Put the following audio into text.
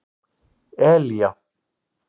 Elía